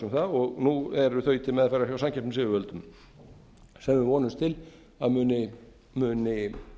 um það nú eru þau til meðferðar hjá samkeppnisyfirvöldum sem við vonumst til að muni